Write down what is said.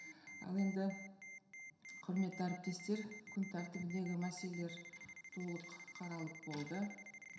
ал енді құрметті әріптестер күн тәртібіндегі мәселелер толық қаралып болды